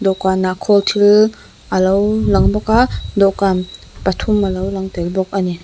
dawhkanah khawl thil alo lang bawk a dawhkan pathum alo lang tel bawk ani.